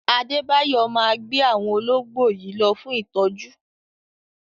Adébáyò máa gbé àwọn ológbò yìí lọ fún ìtọ́jú.